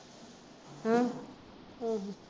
ਹਮ